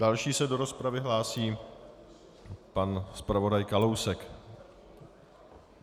Další se do rozpravy hlásí pan zpravodaj Kalousek.